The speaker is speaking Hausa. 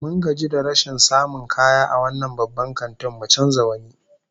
Mun gaji da rashin samun kaya a wannan babban kantin, mun canza wani